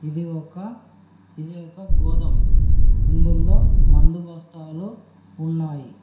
ఇది ఒక ఇది ఒక గోదాం అందులో మందు బస్తాలు ఉన్నాయి.